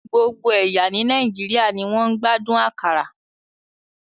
Gbogbo ẹ̀yà ní Nàìjíríà ni wọ́n ń gbádùn akara